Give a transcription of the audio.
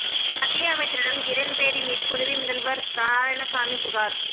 மத்திய அமைச்சரிடம் கிரண் பேடி மீது புதுவை முதல்வா் நாராயணசாமி புகாா்